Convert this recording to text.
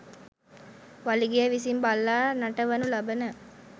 වලිගය විසින් බල්ලා නටවනු ලබන